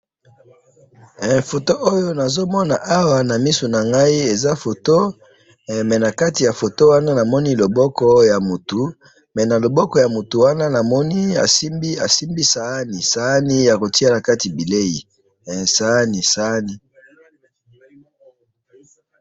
photo oyo nazo mona awa na miso nangai eza photo mais na kati ya photo wana moni loboko ya mutu mais na loboko na moni asimbi sahani yako tiya nakati bileyi sahani